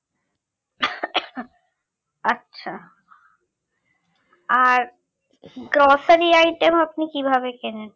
আচ্ছা আর grocery item আপনি কিভাবে কেনেন